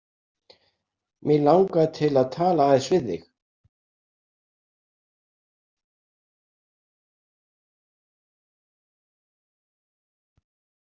Mig langaði til að tala aðeins við þig.